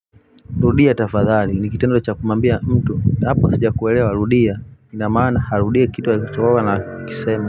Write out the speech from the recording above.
Rudia tafadhali. Nikitendo cha kumuambia mtu hapa sijakuwelewa rudia inamaana arudie kitu alichoana kisema.